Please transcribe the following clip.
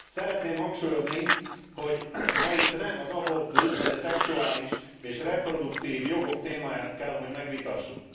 Szeretném hangsúlyozni, hogy ma itt nem az abortusz vagy a szexuális és reproduktív jogok témáját kell, hogy megvitassuk.